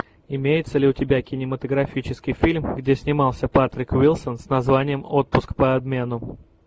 имеется ли у тебя кинематографический фильм где снимался патрик уилсон с названием отпуск по обмену